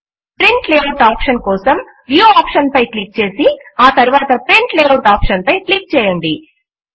print layout option కోసం view option పై click చేసి ఆ తరువాత ప్రింట్ లేఆఉట్ ఆప్షన్ పై క్లిక్ చేయండి